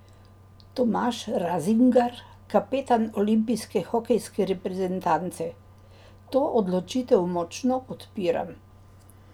Tomaž Razingar, kapetan olimpijske hokejske reprezentance: 'To odločitev močno podpiram.